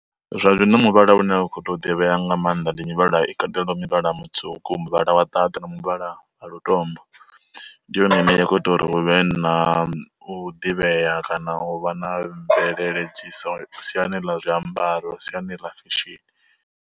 Zwa zwino muvhala une wa kho to ḓivhea nga maanḓa ndi mivhala i katela muvhala mutswuku, muvhala wa ṱaḓa, na muvhala a lutombo. Ndi yone ine ya kho ita uri huvhe na u ḓivhea kana u vha na mvelele siani ḽa zwiambaro siani ḽa fesheni.